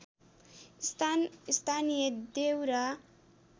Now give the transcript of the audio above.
स्थान स्थानीय देउरा